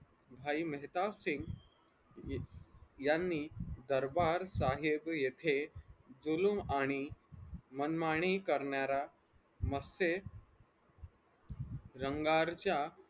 भाई मेहताब सिंग यांनी दरबार साहेब येथे जुलूम आणि मनमानी करणाऱ्या मध्ये रंगारच्या